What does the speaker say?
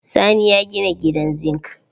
Sani ya gina gidan zingi.